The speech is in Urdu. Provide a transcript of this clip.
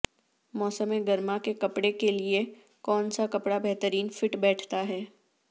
موسم گرما کے کپڑے کے لیے کون سا کپڑا بہترین فٹ بیٹھتا ہے